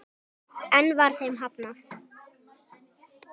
Enn var þeim hafnað.